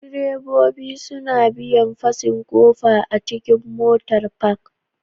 Direbobi suna biyan fasin kofa a cikin Motar Park